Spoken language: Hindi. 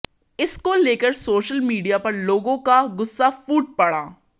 इसको लेकर सोशल मीडिया पर लोगों का गुस्सा फूट पड़ा